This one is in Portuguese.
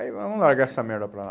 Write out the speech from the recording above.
Aí vamos largar essa merda para lá.